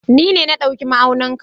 Ni ne na ɗauki ma'aunin ka.